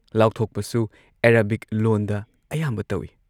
ꯂꯥꯎꯊꯣꯛꯄꯁꯨ Arabic ꯂꯣꯟꯗ ꯑꯌꯥꯝꯕ ꯇꯧꯏ